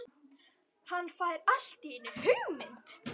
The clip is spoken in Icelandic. Hann fær allt í einu hugmynd.